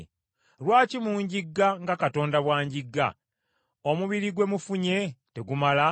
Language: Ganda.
Lwaki munjigga nga Katonda bw’anjigga? Omubiri gwe mufunye tegumala?